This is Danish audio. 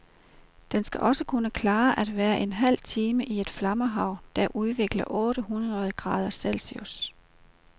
Den skal også kunne klare at være en halv time i et flammehav, der udvikler otte hundrede grader celsius.